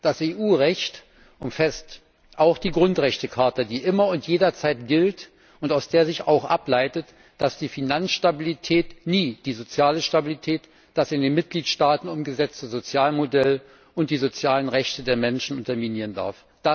Das EU Recht umfasst auch die Grundrechtecharta, die immer und jederzeit gilt und aus der sich auch ableitet, dass die Finanzstabilität nie die soziale Stabilität, das in den Mitgliedstaaten umgesetzte Sozialmodell und die sozialen Rechte der Menschen unterminieren darf.